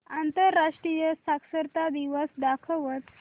आंतरराष्ट्रीय साक्षरता दिवस दाखवच